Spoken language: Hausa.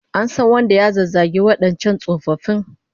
An san wanda ya zazzagi wadancan tsofaffin?